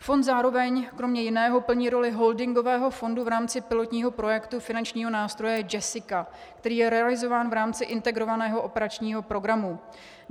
Fond zároveň kromě jiného plní roli holdingového fondu v rámci pilotního projektu finančního nástroje JESSICA, který je realizován v rámci Integrovaného operačního programu.